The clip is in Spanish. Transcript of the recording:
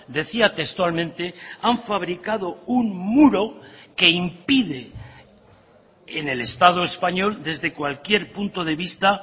decía textualmente han fabricado un muro que impide en el estado español desde cualquier punto de vista